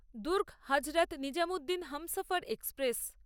Durg Hazrat Nizamuddin Humsafar express